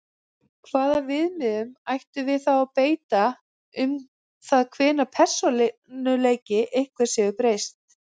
Hvaða viðmiðum ættum við þá að beita um það hvenær persónuleiki einhvers hefur breyst?